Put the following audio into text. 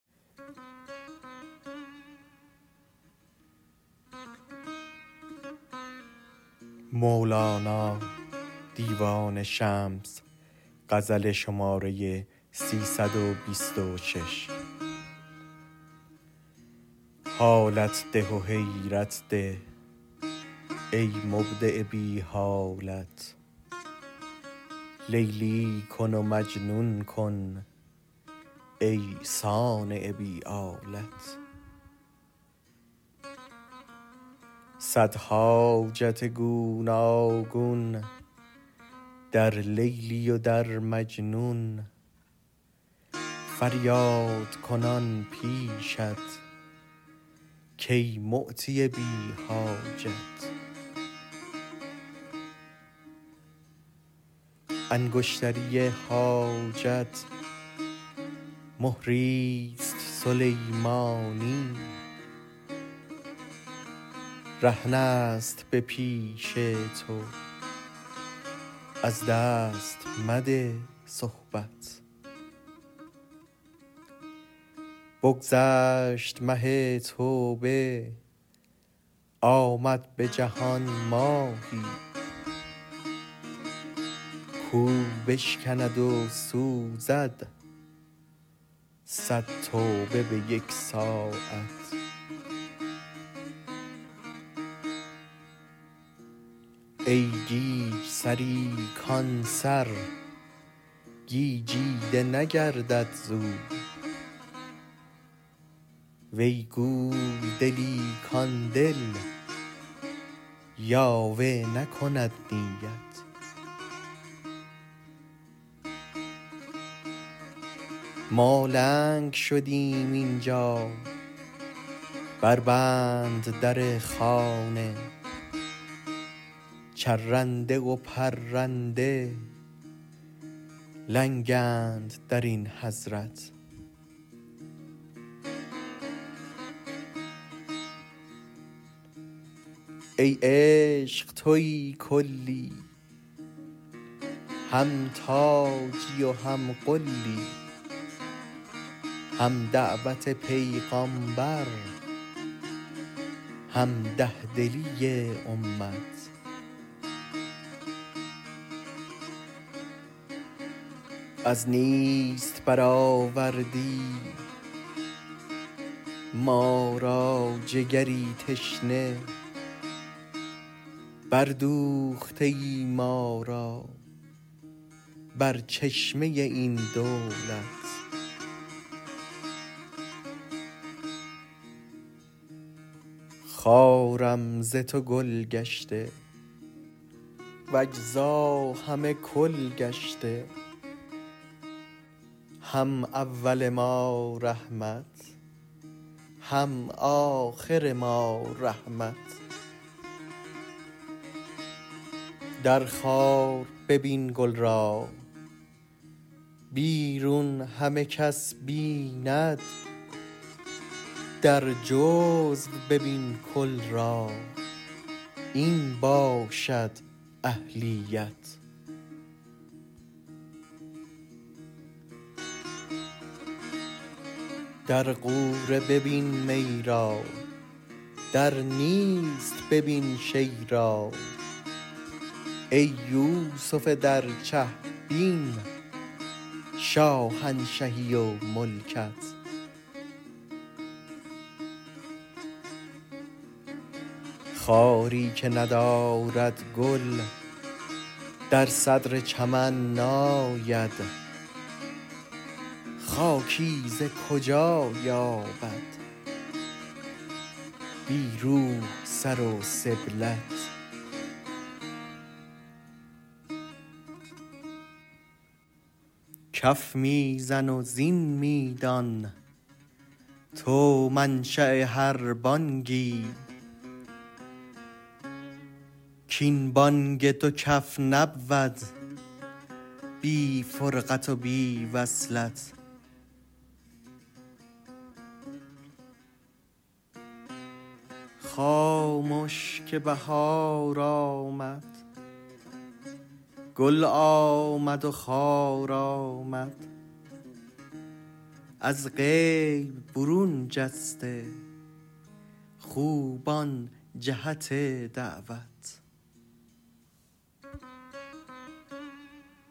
حالت ده و حیرت ده ای مبدع بی حالت لیلی کن و مجنون کن ای صانع بی آلت صد حاجت گوناگون در لیلی و در مجنون فریادکنان پیشت کای معطی بی حاجت انگشتری حاجت مهریست سلیمانی رهنست به پیش تو از دست مده صحبت بگذشت مه توبه آمد به جهان ماهی کاو بشکند و سوزد صد توبه به یک ساعت ای گیج سری کان سر گیجیده نگردد ز او وی گول دلی کان دل یاوه نکند نیت ما لنگ شدیم این جا بربند در خانه چرنده و پرنده لنگند در این حضرت ای عشق توی کلی هم تاجی و هم غلی هم دعوت پیغامبر هم ده دلی امت از نیست برآوردی ما را جگری تشنه بردوخته ای ما را بر چشمه این دولت خارم ز تو گل گشته و اجزا همه کل گشته هم اول ما رحمت هم آخر ما رحمت در خار ببین گل را بیرون همه کس بیند در جزو ببین کل را این باشد اهلیت در غوره ببین می را در نیست ببین شیء را ای یوسف در چه بین شاهنشهی و ملکت خاری که ندارد گل در صدر چمن ناید خاکی ز کجا یابد بی روح سر و سبلت کف می زن و زین می دان تو منشاء هر بانگی کاین بانگ دو کف نبود بی فرقت و بی وصلت خامش که بهار آمد گل آمد و خار آمد از غیب برون جسته خوبان جهت دعوت